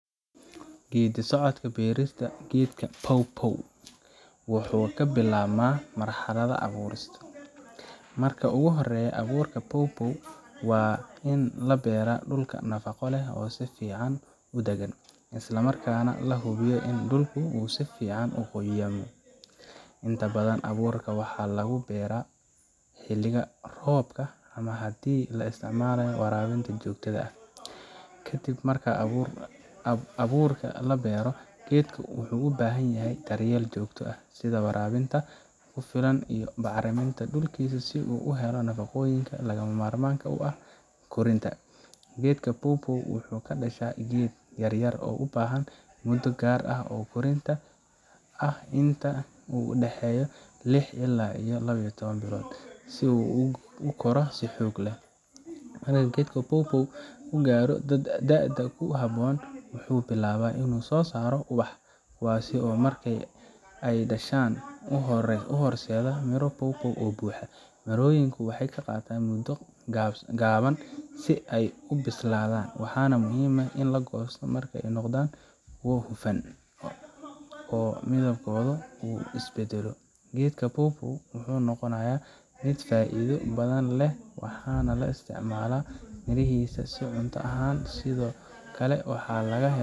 Geedi socodka beerista geedka pawpaw wuxuu ka bilaabmaa marxaladda abuurista. Marka ugu horreysa, abuurka pawpaw waa in la beeraa dhul nafaqo leh oo si fiican u daggan, isla markaana la hubiyo in dhulku uu si fiican u qoyaamo. Inta badan, abuurka waxaa lagu beeraa xilliga roobka ama haddii la isticmaalo waraabinta joogtada ah. Kadib marka abuurka la beero, geedku wuxuu u baahan yahay daryeel joogto ah, sida waraabinta ku filan iyo bacriminta dhulkiisa si uu u helo nafaqooyinka lagama maarmaanka u ah koritaanka. Geedka pawpaw wuxuu ka dhashaa geed yaryar oo u baahan muddo gaar ah oo koritaan ah, inta u dhaxaysa lix ilaa laba iyo toaban bilood, si uu ugu koro si xoog leh. Marka geedka pawpaw uu gaadho da'da ku habboon, wuxuu bilaabaa inuu soo saaro ubax, kuwaas oo marka ay dhashaan, u horseeda miro pawpaw oo buuxa. Mirooyinku waxay qaataan muddo gaaban si ay u bislaadaan, waxaana muhiim ah in la goosto marka ay noqdaan kuwo hufan oo midabkoodu uu isbeddelo. Geedka pawpaw wuxuu noqonayaa mid faa'iido badan leh, waxaana la isticmaalaa mirihiisa si cunto ahaan, sidoo kale waxaa laga helaa.